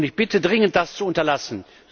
Ich bitte dringend, das zu unterlassen.